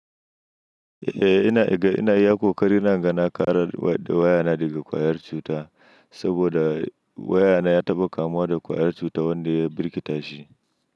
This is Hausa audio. Eh ina, ina iya kokari na in ga na kare wayana daga kwayar cuta saboda wayana ya taɓa kamuwa da kwayar cuta wanda ya birkitashi.